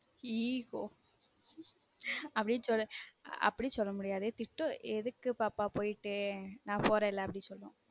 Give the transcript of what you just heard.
Ego அப்டி சொல்ல முடியாது திட்டும் எதுக்கு பாப்பா போய்ட்டு நான் போறல அப்டினு சொல்லும்